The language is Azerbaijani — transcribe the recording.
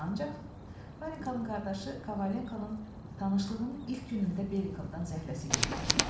Ancaq Varenkanın qardaşı Kavalinkonun tanışlığının ilk günündə Belikovdan zəhləsi getdi.